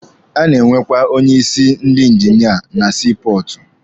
A na-enwekwa onye isi ndi injinia na sii pọọtụ.